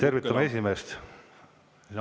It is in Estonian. Tervitame esimeest!